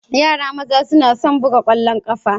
Yara Maza suna son Buga Kwallon kafa